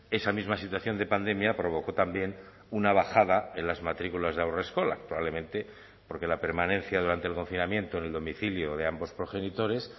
esa misma situación de pandemia provocó también una bajada en las matrículas de haurreskolak probablemente porque la permanencia durante el confinamiento en el domicilio de ambos progenitores